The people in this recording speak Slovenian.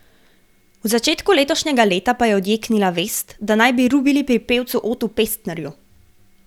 V začetku letošnjega leta pa je odjeknila vest, da naj bi rubili pri pevcu Otu Pestnerju.